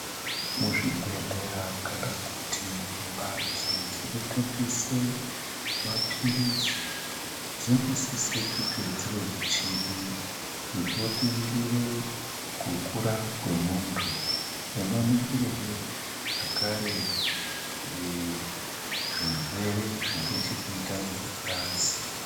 Muzvibhedhlera kana kuti mbatso dzinotengese maphirizi dzinosise kunge dzine michini inoningire kukura kwemuntu. Inoningirehe zvakare ee zvirwere zvine chekuita ngengazi.